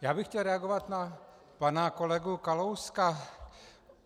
Já bych chtěl reagovat na pana kolegu Kalouska.